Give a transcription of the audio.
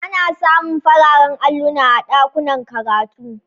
Ana samun fararen alluna a ɗakunan karatu